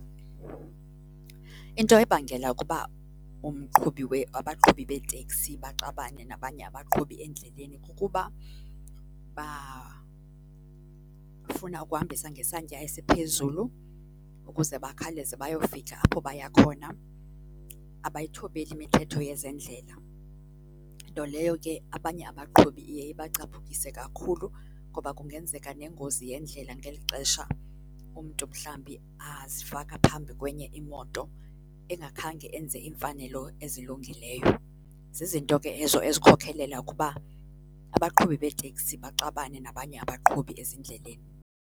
Into ebangela ukuba umqhubi , abaqhubi beeteksi baxabane nabanye abaqhubi endleleni kukuba bafuna ukuhambisa ngesantya esiphezulu ukuze bakhaleze bayofika apho baya khona. Abayithobeli imithetho yezendlela nto leyo ke abanye abaqhubi iye ibacaphukise kakhulu ngoba kungenzeka nengozi yendlela ngeli xesha umntu mhlambi azifaka phambi kwenye imoto engakhange enze iimfanelo ezilungileyo. Zizinto ke ezo ezikhokhelela ukuba abaqhubi beeteksi baxabane nabanye abaqhubi ezindleleni.